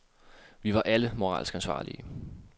Vi var alle moralsk ansvarlige.